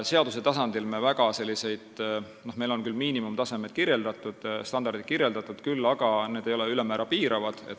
Meil on küll miinimumtasemed, standardid kirjeldatud, need aga ei ole ülemäära piiravad.